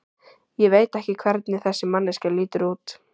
Ég veit ekki hvernig þessi manneskja lítur út.